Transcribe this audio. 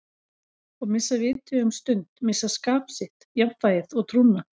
Og missa vitið um stund, missa skap sitt, jafnvægið og trúna.